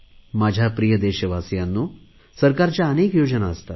माझ्या प्रिय देशवासियांनो सरकारच्या अनेक योजना असतात